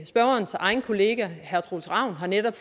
spørgerens egen kollega herre troels ravn har netop